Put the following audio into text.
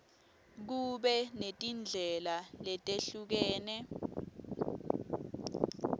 kube netindlela letehlukene